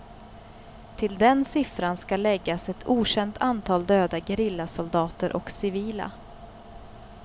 Till den siffran skall läggas ett okänt antal döda gerillasoldater och civila.